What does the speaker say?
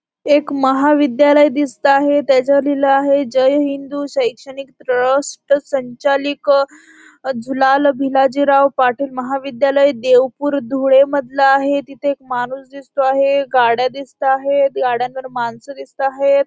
एक महाविद्यालय दिसता आहे त्याच्यावर लिहिलेलं आहे जय हिंदू शैक्षणिक ट्रस्ट संचालिक झुलाल भिलाजीराव पाटील महाविद्यालय देवपूर धुळे मधलं आहे तिथे एक माणूस दिसतो आहे गाड्या दिसता आहेत गाड्यांवर माणसं दिसता आहेत.